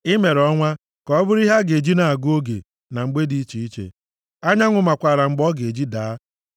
I mere ọnwa ka ọ bụrụ ihe a ga-eji na-agụ oge na mgbe dị iche iche; anyanwụ makwaara mgbe ọ ga-eji daa.